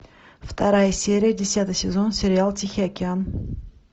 вторая серия десятый сезон сериал тихий океан